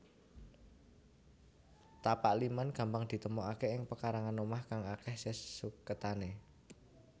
Tapak liman gampang ditemokaké ing pekarangan omah kang akéh sesuketane